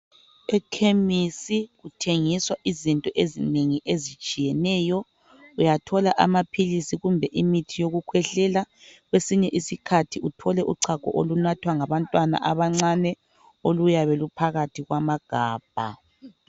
Ekhemisi kuthengiswa izinto ezinengi ezitshiyeneyo. Uyathola amaphilisi kumbe imithi yokukhwehlela. Kwesinye isikhathi uthole uchago olunathwa ngabantwana abancane oluyabe luphakathi kwamagabha.